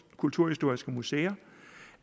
kulturhistoriske museer